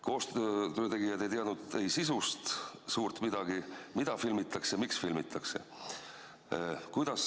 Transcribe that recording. Koostöö tegijad ei teadnud sisust suurt midagi, et mida filmitakse ja miks filmitakse.